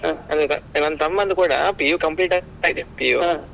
ಅ ಅದೀಗ ನನ್ ತಮ್ಮಂದ್ ಕೂಡಾ PU complete ಆಗ್ತಾ ಇದೆ PU .